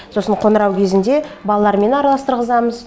сосын қоңырау кезінде балалармен араластырғызамыз